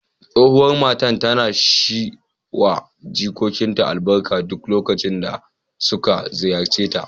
Tsohuwar matar tana shi wa jikokinta albarka duk lokacin da suka ziyarce ta.